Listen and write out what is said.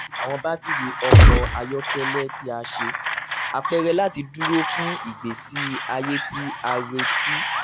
awọn batiri ọkọ ayọkẹlẹ ti a ṣe apẹrẹ lati duro fun igbesi aye ti a reti